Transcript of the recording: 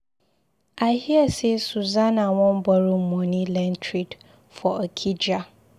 I hear say Susanna wan borrow money learn trade for Okija.